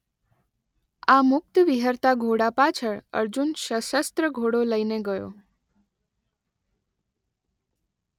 આ મુક્ત વિહરતા ઘોડા પાછળ અર્જુન શસસ્ત્ર ઘોડો લઇને ગયો.